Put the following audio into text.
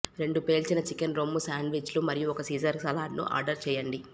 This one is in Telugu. రెండు పేల్చిన చికెన్ రొమ్ము శాండ్విచ్లు మరియు ఒక సీజర్ సలాడ్ను ఆర్డర్ చేయండి